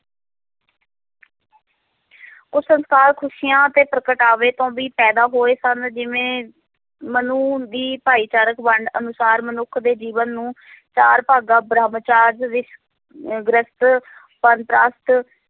ਉਹ ਸੰਸਕਾਰ, ਖ਼ੁਸ਼ੀਆਂ ਤੇ ਪ੍ਰਗਟਾਵੇ ਤੋਂ ਵੀ ਪੈਦਾ ਹੋਏ ਸਨ, ਜਿਵੇਂ ਮਨੂ ਦੀ ਭਾਈਚਾਰਕ ਵੰਡ ਅਨੁਸਾਰ ਮਨੁੱਖ ਦੇ ਜੀਵਨ ਨੂੰ ਚਾਰ ਭਾਗਾਂ ਬ੍ਰਹਮਚਰਜ ਵਿੱਚ ਅਹ ਗ੍ਰਿਹਸਥ ਬਾਨਪ੍ਰਸਥ